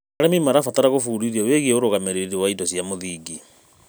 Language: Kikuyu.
Arĩmi maatiĩ gũbundithio wĩgiĩ ũrũgamĩrĩri wa indo cia mũthingi.